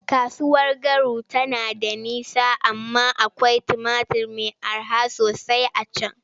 Kasuwar Garu tana da nisa amma akwai tumatur mai araha sosai a can.